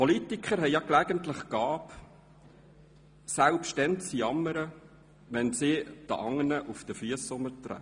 Politiker haben ja gelegentlich die Gabe, selbst dann zu jammern, wenn sie anderen auf die Füsse treten.